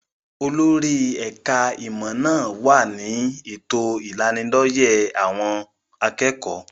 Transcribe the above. Olórí ẹ̀ka-ìmọ̀ náà wà ní ètò ìlanilọ́yẹ́ àwọn akẹ́kọ̀ọ́.